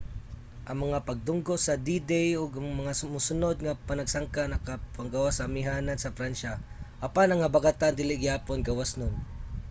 ang mga pagdunggo sa d-day ug ang mga mosunud nga panagsangka nakapagawas sa amihanan sa pransya apan ang habagatan dili gihapon gawasnon